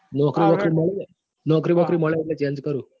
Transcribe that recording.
નોકરી વોકારી મળે તો change કરું.